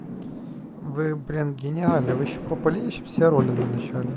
вы блин гениальны вы ещё попали все роли на начале